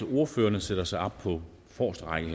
ordførerne sætter sig op på forreste række